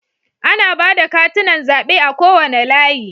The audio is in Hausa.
Ana ba da katunan zabe a kowane layi.